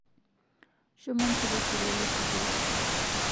shomo njopo esurwali eskul